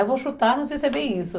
Eu vou chutar, não sei se é bem isso...